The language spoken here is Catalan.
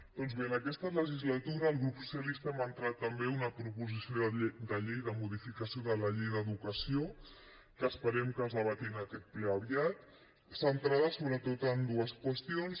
doncs bé en aquesta legislatura el grup socialista hem entrat també una proposició de llei de modificació de la llei d’educació que esperem que es debati en aquest ple aviat centrada sobretot en dues qüestions